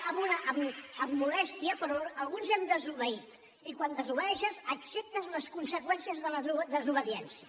amb modèstia però alguns hem desobeït i quan desobeeixes acceptes les conseqüències de la desobediència